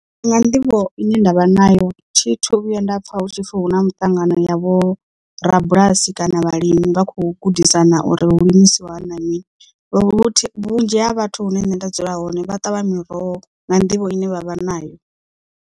Nga nḓivho ine ndavha nayo thithu vhuya nda pfha hutshipfi hu na muṱangano ya vho rabulasi kana vhalimi vha khou gudisana uri hu limisiwa hani na mini vhunzhi ha vhathu hune nṋe nda dzula hone vha ṱavha miroho nga nḓivho ine vha vha nayo.